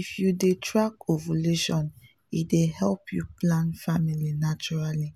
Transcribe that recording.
“if you dey track ovulation e dey help you plan family naturally